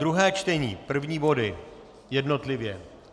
Druhé čtení první body jednotlivě.